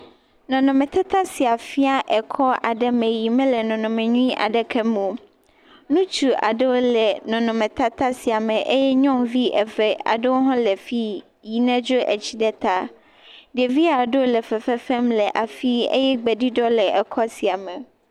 Nɔnɔme tata sia fia ekɔ aɖe yike me le nɔnɔme byuie aɖeke me o. Ŋutsu aɖewo le nɔnɔme tata sia me eye nyɔnuvi eve aɖewo le fi yi nedro etsi ɖe ta. Ɖevi aɖewo le dɔ wɔm le afi eye gbeɖuɖɔ aɖe le ekɔ sia me.